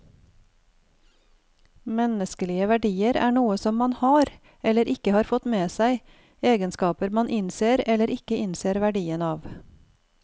Menneskelige verdier er noe som man har, eller ikke har fått med seg, egenskaper man innser eller ikke innser verdien av.